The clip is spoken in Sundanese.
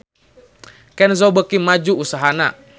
Kenzo beuki maju usahana